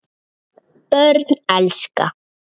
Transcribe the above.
Börn elska.